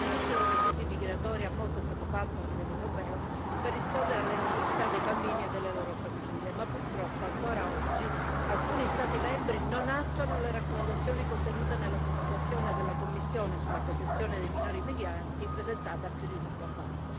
Dall'inizio della crisi migratoria, molto è stato fatto a livello europeo per rispondere alle necessità dei bambini e delle loro famiglie, ma purtroppo ancora oggi alcuni Stati membri non attuano le raccomandazioni contenute nella comunicazione della Commissione sulla protezione dei minori migranti, presentata più di un anno fa.